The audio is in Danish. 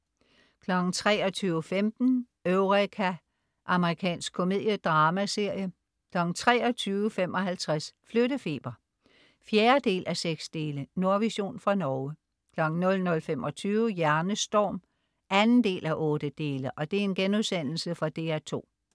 23.15 Eureka. Amerikansk komediedramaserie 23.55 Flyttefeber 4:6. Nordvision fra Norge 00.25 Hjernestorm 2:8.* Fra DR2